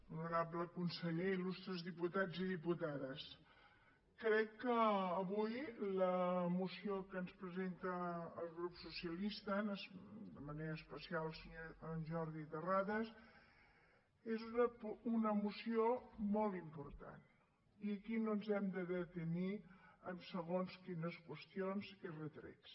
honorable conseller il·lustres diputats i diputades crec que avui la moció que ens presenta el grup socialista de manera especial el senyor jordi terrades és una moció molt important i aquí no ens hem de detenir en segons quines qüestions i retrets